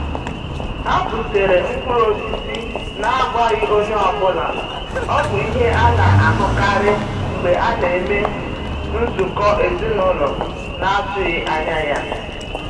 Ha butere mkpụrụ osisi n'akwaghị onye ọ bụla, ọ bụ ihe a na-ahụkarị mgbe a na-eme nzukọ ezinaụlọ na-atụghị anya ya.